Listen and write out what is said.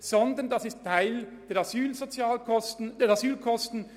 Vielmehr gehörten sie zu den Asylkosten.